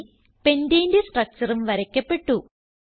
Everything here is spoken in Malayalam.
അങ്ങനെ pentaneന്റെ structureഉം വരയ്ക്കപ്പെട്ടു